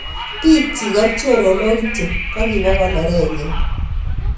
Bik chik ak choronok kityo kokiba konoret nyin.